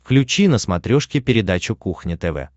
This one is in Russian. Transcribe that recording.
включи на смотрешке передачу кухня тв